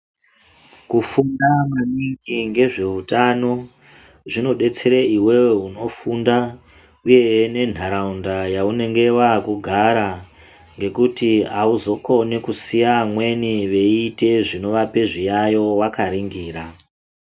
Kufunda maningi ngezveutano zvinodetsere iwewe unofunda nentharaunda yaunenge waakugara ngekuti auzokoni kusiya amweni veiite zvinovape zviyayo wakaringira.